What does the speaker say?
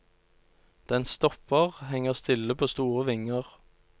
Den stopper, henger stille på store vinger.